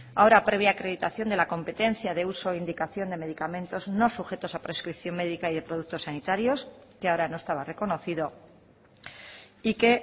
ahora previa acreditación de la competencia de uso e indicación de medicamentos no sujetos a prescripción médica y de productos sanitarios que ahora no estaba reconocido y que